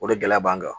O de gɛlɛya b'an kan